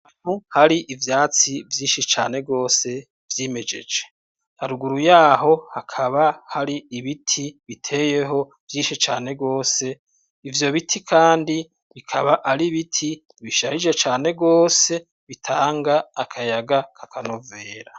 Hari ivyatsi vyinshi cane gose vyimejeje, haruguru yaho hakaba hari ibiti biteyeho vyishi cane gose, ivyo biti kandi bikaba ar'ibiti bisharije cane gose bitanga akayaga akanovera.